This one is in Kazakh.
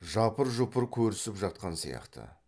жапыр жұпыр көрісіп жатқан сияқты